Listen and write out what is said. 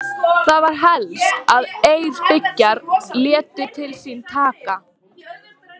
Það var helst að Eyrbyggjar létu til sín taka.